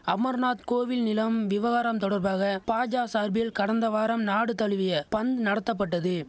அமர்நாத் கோவில் நிலம் விவகாரம் தொடர்பாக பாஜ சார்பில் கடந்தவாரம் நாடு தழுவிய பந் நடத்தப்பட்டது